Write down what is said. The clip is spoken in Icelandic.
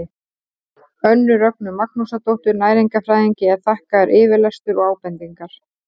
önnu rögnu magnúsardóttur næringarfræðingi er þakkaður yfirlestur og ábendingar